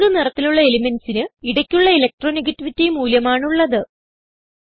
pink നിറത്തിലുള്ള elementsന് ഇടയ്ക്കുള്ള ഇലക്ട്രോണെഗേറ്റിവിറ്റി മൂല്യം ആണ് ഉള്ളത്